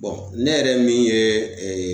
Bɔn ne yɛrɛ min ye ee